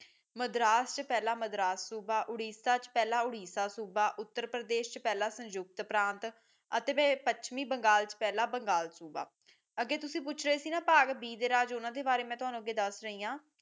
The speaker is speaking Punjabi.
ਮਦਰਾਸ ਚ ਪਹਿਲਾਂ ਮਦਰਾਸ ਸੂਬਾ ਉੜੀਸਾ ਚ ਪਹਿਲਾਂ ਉੜੀਸਾ ਸੂਬਾ ਉੱਤਰ ਪ੍ਰਦੇਸ਼ ਸੰਯੁਕਤ ਪ੍ਰਾਤ ਅਤੇ ਪੱਛਮੀ ਬੰਗਾਲ ਚ ਪਹਿਲਾਂ ਬੰਗਾਲ ਸੂਬਾ ਅੱਗੇ ਤੁਸੀ ਪੁੱਛ ਰਹੀਏ ਸੀ ਬਾਗ ਬੀ ਦੇ ਰਾਜ ਉਨ੍ਹਾਂ ਦੇ ਬਾਰੇ ਮੈ ਤੈਨੂੰ ਦੱਸਣੀ